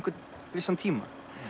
vissan tíma